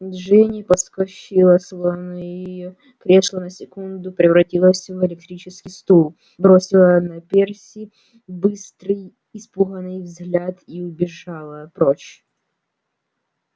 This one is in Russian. джинни подскочила словно её кресло на секунду превратилось в электрический стул бросила на перси быстрый испуганный взгляд и убежала прочь